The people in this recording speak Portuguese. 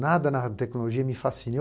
Nada na tecnologia me fascina.